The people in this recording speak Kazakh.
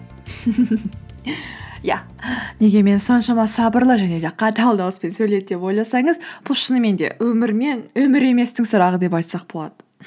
иә неге мен соншама сабырлы және де қатал дауыспен сөйледі деп ойласаңыз бұл шынымен де өмір мен өмір еместің сұрағы деп айтсақ болады